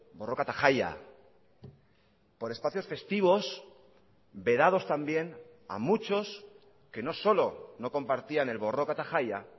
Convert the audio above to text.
borroka eta jaia por espacios festivos vedados también a muchos que no solo no compartían el borroka eta jaia